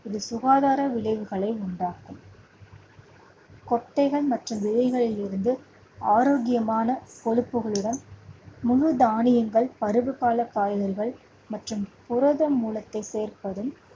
இது சுகாதார விளைவுகளை உண்டாக்கும் கொட்டைகள் மற்றும் விதைகளில் இருந்து ஆரோக்கியமான கொழுப்புகளுடன் முழு தானியங்கள், பருவ கால காய்கறிகள் மற்றும் புரதம் மூலத்தை சேர்ப்பதும்